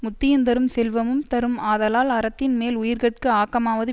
முத்தியுந்தரும் செல்வமும் தரும் ஆதலால் அறத்தின் மேல் உயிர்கட்கு ஆக்கமாவது